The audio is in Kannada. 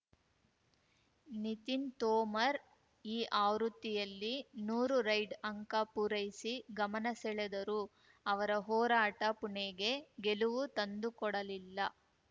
ನಿತಿನ್‌ ತೋಮರ್‌ ಈ ಆವೃತ್ತಿಯಲ್ಲಿ ನೂರು ರೈಡ್‌ ಅಂಕ ಪೂರೈಸಿ ಗಮನ ಸೆಳೆದರೂ ಅವರ ಹೋರಾಟ ಪುಣೆಗೆ ಗೆಲುವು ತಂದುಕೊಡಲಿಲ್ಲ